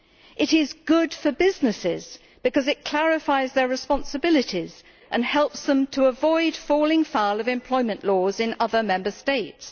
It is good for businesses because it clarifies their responsibilities and helps them to avoid falling foul of employment laws of other Member States.